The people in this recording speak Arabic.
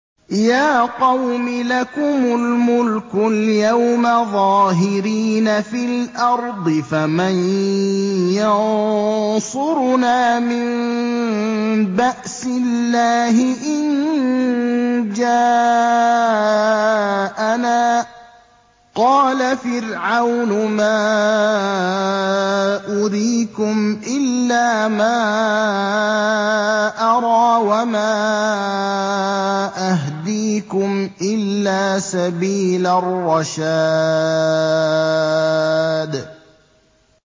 يَا قَوْمِ لَكُمُ الْمُلْكُ الْيَوْمَ ظَاهِرِينَ فِي الْأَرْضِ فَمَن يَنصُرُنَا مِن بَأْسِ اللَّهِ إِن جَاءَنَا ۚ قَالَ فِرْعَوْنُ مَا أُرِيكُمْ إِلَّا مَا أَرَىٰ وَمَا أَهْدِيكُمْ إِلَّا سَبِيلَ الرَّشَادِ